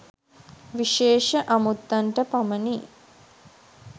විශේෂ අමුත්තන්ට පමණි.